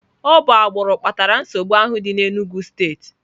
Ọ bụ agbụrụ kpatara nsogbu ahụ dị n'Enugwu steeti.